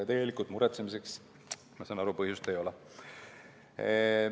Tegelikult muretsemiseks, ma sain aru, põhjust ei ole.